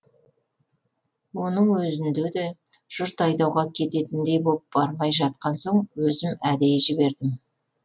оның өзінде де жұрт айдауға кететіндей боп бармай жатқан соң өзім әдейі жібердім